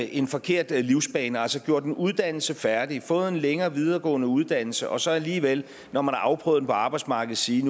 en forkert livsbane altså have gjort en uddannelse færdig fået en længere videregående uddannelse og så alligevel når man har afprøvet den på arbejdsmarkedet sige